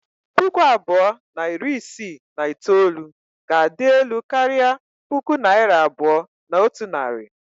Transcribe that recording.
Puku abụọ na iri isii na itoolu ga-adị elu karịa puku naira abụọ na otu narị.